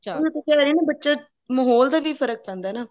ਜਿਵੇਂ ਤੂੰ ਕਹਿ ਰਹੀ ਹੈ ਨਾ ਬੱਚਾ ਮਹੋਲ ਦਾ ਵੀ ਫਰਕ਼ ਪੈਂਦਾ ਨਾ